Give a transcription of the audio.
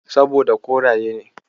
Saboda koraye ne.